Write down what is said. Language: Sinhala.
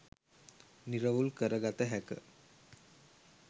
නිරවුල් කර ගත හැක.